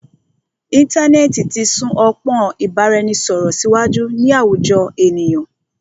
Íntanẹ́ẹ̀ti ti sún ọpọ́n ìbáraẹnisọ̀rọ̀ síwájú ní àwùjọ ènìyàn.